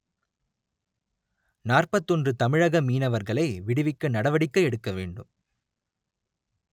நாற்பத்தி ஒன்று தமிழக மீனவர்களை விடுவிக்க நடவடிக்கை எடுக்க வேண்டும்